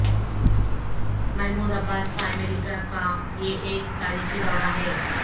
Mahmood Abbas کا امریکہ کا یہ ایک تاریخی دورہ ہے